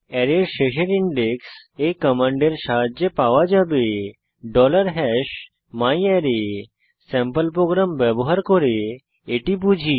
অ্যারের শেষের ইনডেক্স এই কমান্ডের সাহায্যে পাওয়া যাবে myArray স্যাম্পল প্রোগ্রাম ব্যবহার করে এটি বুঝি